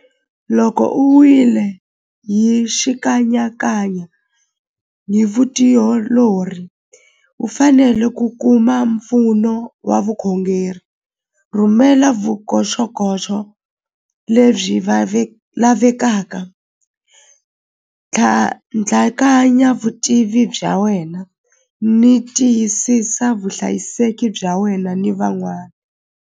Loko u wile hi xikanyakanya hi vutiolori u fanele ku kuma mpfuno wa vukhongeri rhumela vukoxokoxo lebyi lavekaka ntlhantlhakanya vutivi bya wena ni tiyisisa vuhlayiseki bya wena ni van'wana.